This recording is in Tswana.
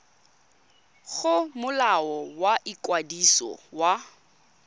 go molao wa ikwadiso wa